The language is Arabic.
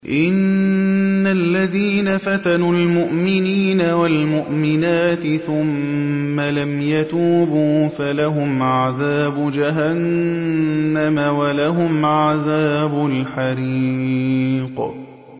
إِنَّ الَّذِينَ فَتَنُوا الْمُؤْمِنِينَ وَالْمُؤْمِنَاتِ ثُمَّ لَمْ يَتُوبُوا فَلَهُمْ عَذَابُ جَهَنَّمَ وَلَهُمْ عَذَابُ الْحَرِيقِ